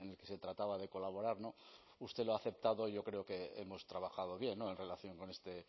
que se trataba de colaborar no usted lo ha aceptado yo creo que hemos trabajado bien en relación con este